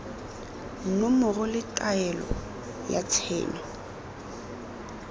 nomoro le taelo ya tshenyo